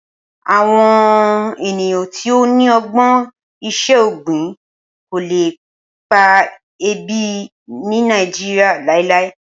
Awọn eniyan ti o ni ọgbọn iṣẹ-ogbin ko le pa ebi ni Naijiria lailai